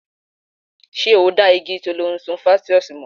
Ṣé o dá igi Thollon Strophanthus mọ̀?